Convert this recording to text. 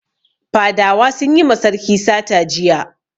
Fadawa sun yi ma sarki sata jiya